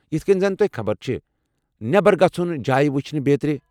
یتھ کِنۍ زن تۄہہ خبر چھےٚ، نٮ۪بر گژھُن ، جایہِ وُچھِنہِ ، بیترِ۔